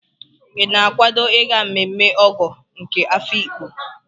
Ị na-akwado ịga mmemme Ọgọ nke Afiikpo?